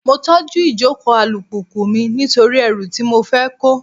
Mo tọ́jú ìjókòó alùpùpù mi nítorí ẹrù tí mo fẹ́ kó.